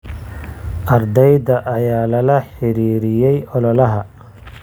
Ardayda ayaa lala xiriiriyay ololaha.